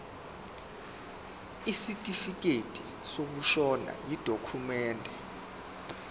isitifikedi sokushona yidokhumende